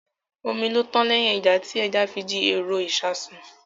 Omi ló tán lẹ́yìn ẹja, tí ẹja fi di èrò ìṣasùn